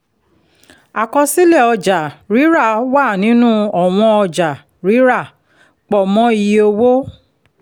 àkọsílẹ̀ ọjà-rírà wà nínú ọ̀wọ̀n ọjà-rírà pọ̀ mọ́ iye owó